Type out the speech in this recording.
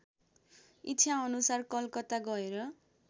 इच्छाअनुसार कलकत्ता गएर